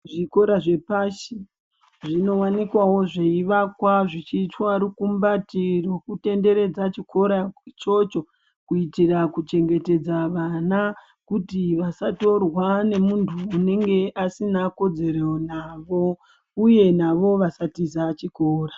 Zvikora zvepashi zvinowanikwavo zveivakwa zvichiitwa rukumbati rwekutenderedza chikora ichocho kuitira kuchengetedza vana kuti vasatorwa nemuntu unenge asina kodzero navo uye navo vasatiza chikora.